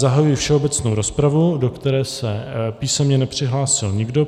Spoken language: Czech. Zahajuji všeobecnou rozpravu, do které se písemně nepřihlásil nikdo.